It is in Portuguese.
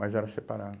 Mas era separado.